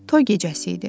Toy gecəsi idi.